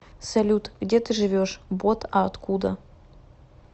салют где ты живешь бот а откуда